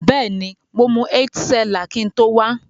Beeni, mo mu Heitz Cellar kin to wa.